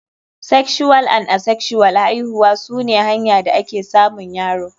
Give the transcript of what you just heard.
Sexual and Asexual aihuwa sune hanya da ake samun yaro.